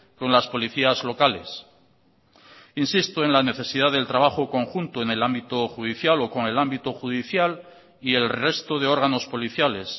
con las policías locales insisto en la necesidad del trabajo conjunto en el ámbito judicial o con el ámbito judicial y el resto de órganos policiales